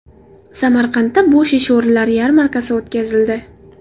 Samarqandda bo‘sh ish o‘rinlari yarmarkasi o‘tkazildi.